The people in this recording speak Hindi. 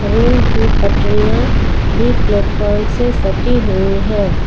रेल की पटरियां भी प्लेटफार्म से सटी हुई हैं।